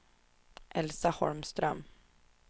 Elsa Holmström